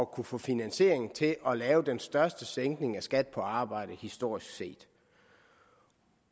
kunne få finansiering til at lave den største sænkning af skatten på arbejde historisk set